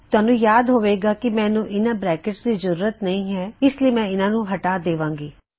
ਤੁਹਾਨੂੰ ਯਾਦ ਹੋਵੇ ਗਾ ਕੀ ਮੈਨੂੰ ਇਹਨਾ ਬਰੈਕਿਟਸ ਦੀ ਜ਼ਰੂਰਤ ਨਹੀ ਹੈ ਇਸ ਲਈ ਮੈਂ ਇਹਨਾ ਨੂੰ ਹਟਾ ਦੇਵਾਂਗੀ